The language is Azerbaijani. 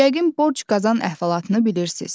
Yəqin borc qazan əhvalatını bilirsiz.